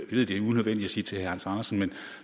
ved det er unødvendigt at sige det til herre hans andersen men